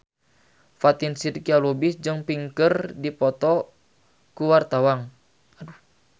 Fatin Shidqia Lubis jeung Pink keur dipoto ku wartawan